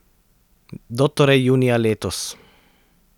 Do torej junija letos!